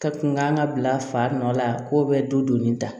Ka kun kan ka bila fa nɔ la k'o bɛ donni ta